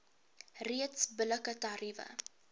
reeks billike tariewe